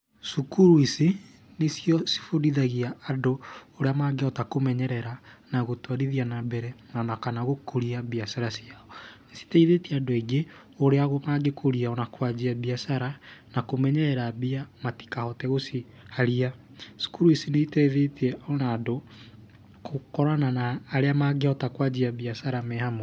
Cukuru ici, nĩcio cibundithagia andũ ũrĩa mangĩhota kũmenyerera na gũtwarithia nambere ona kana gũkũria biacara ciao, citeithĩtie andũ aingĩ ũrĩa mangĩkũrĩa ona kwanjia biacara na kũmenyerera mbia matikahote gũciharia. Cukuru ici nĩiteithĩtie ona andũ kũkorana arĩa magĩhota kũanjia biacara me hamwe.